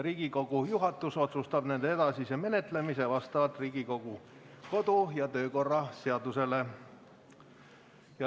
Riigikogu juhatus otsustab nende edasise menetlemise vastavalt Riigikogu kodu- ja töökorra seadusele.